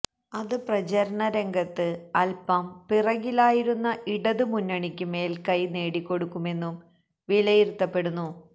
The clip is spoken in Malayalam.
അത് പ്രചരണ രംഗത്ത് അല്പം പിറകിലായിരുന്ന ഇടത് മുന്നണിക്ക് മേല്ക്കൈ നേടിക്കൊടുക്കുമെന്നും വിലയിരുത്തപ്പെടുന്നു